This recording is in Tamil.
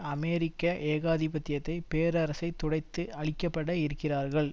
அமெரிக்க ஏகாதிபத்தியதை பேரரசை துடைத்து அழிக்கப்பட இருக்கிறார்கள்